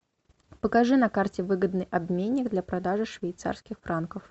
покажи на карте выгодный обменник для продажи швейцарских франков